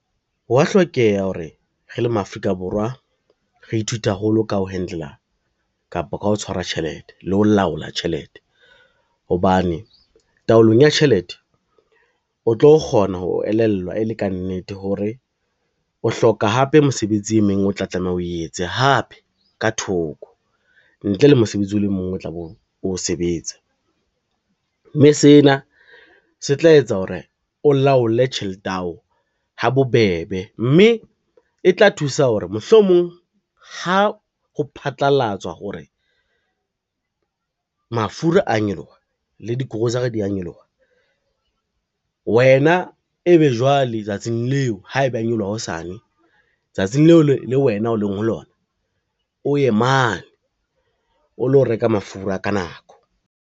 Ho wa hlokeha hore re le ma-Afrika Borwa, re ithute haholo ka ho handler kapa ka ho tshwara tjhelete le ho laola tjhelete, hobane taolong ya tjhelete o tlo kgona ho elellwa e le ka nnete hore o hloka hape mosebetsi e meng o tla tlameha o etse hape ka thoko ntle le mosebetsi o le mong o tla be o o sebetsa, mme sena se tla etsa hore o laole tjhelete yao ha bobebe mme e tla thusa hore mohlomong ha ho phatlalatswa hore mafura a nyoloha le di-grocery dia nyoloha wena e be jwale tsatsing leo, ha eba a nyoloha hosane tsatsing leo le wena o leng ho lona, o ye mane o lo reka mafura ka nako.